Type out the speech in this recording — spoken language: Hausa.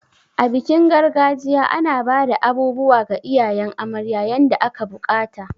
A bikin gargajiya, ana bada abubuwa ga iyayen amarya yanda aka bukata.